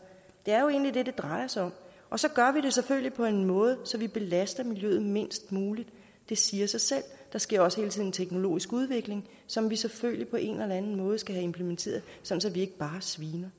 det er jo egentlig det det drejer sig om og så gør vi det selvfølgelig på en måde så vi belaster miljøet mindst muligt det siger sig selv der sker også hele tiden en teknologisk udvikling som vi selvfølgelig på en eller anden måde skal have implementeret så så vi ikke bare sviner